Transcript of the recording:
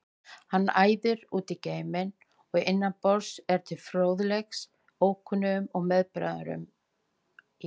Hann æðir út í geiminn og innan borðs er til fróðleiks ókunnum meðbræðrum í